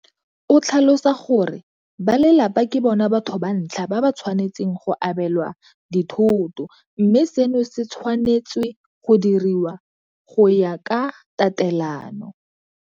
O tlhalosa gore ba lelapa ke bona batho ba ntlha ba ba tshwanetseng go abelwa dithoto mme seno se tshwanetswe go diriwa go ya ka tatelano